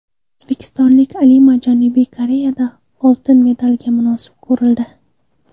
O‘zbekistonlik olima Janubiy Koreyada oltin medalga munosib ko‘rildi.